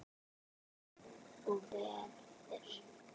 Og verður.